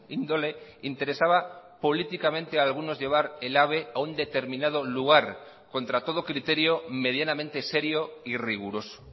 índole interesaba políticamente a algunos llevar el ave a un determinado lugar contra todo criterio medianamente serio y riguroso